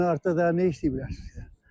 Ona görə də daha nə işləyiblər.